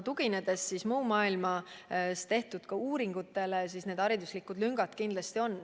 Tuginedes mujal maailmas tehtud uuringutele võib öelda, et hariduslikud lüngad kindlasti on.